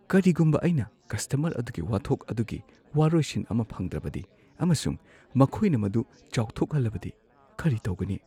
ꯀꯔꯤꯒꯨꯝꯕ ꯑꯩꯅ ꯀꯁꯇꯃꯔ ꯑꯗꯨꯒꯤ ꯋꯥꯊꯣꯛ ꯑꯗꯨꯒꯤ ꯋꯥꯔꯣꯏꯁꯤꯟ ꯑꯃ ꯐꯪꯗ꯭ꯔꯕꯗꯤ ꯑꯃꯁꯨꯡ ꯃꯈꯣꯏꯅ ꯃꯗꯨ ꯆꯥꯎꯊꯣꯛꯍꯜꯂꯕꯗꯤ ꯀꯔꯤ ꯇꯧꯒꯅꯤ?